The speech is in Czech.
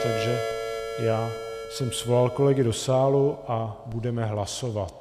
Takže já jsem přivolal kolegy do sálu a budeme hlasovat.